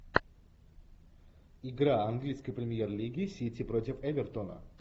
игра английской премьер лиги сити против эвертона